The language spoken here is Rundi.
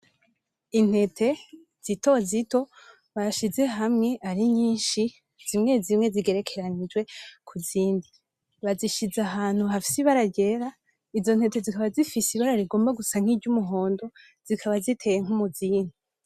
Intete zitozito bashize hamwe ari nyinshi zimwe zimwe zigerekeranijwe kuzindi bazishize ahantu hafise ibara ryera, izo ntete zikaba zifise ibara risa nk'iryumuhondo zikaba ziteye nk'umuzingi.